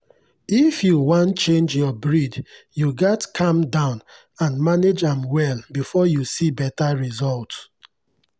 if you wan change your breed you gats calm down and manage am well before you see better result.